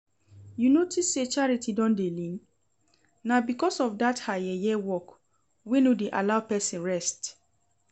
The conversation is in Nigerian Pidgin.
You notice say Charity don dey lean? Na because of dat her yeye work wey no dey allow person rest